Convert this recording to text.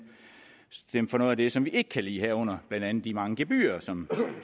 for noget af det som vi ikke kan lide herunder blandt andet de mange gebyrer som